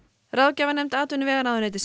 ráðgjafarnefnd atvinnuvegaráðuneytisins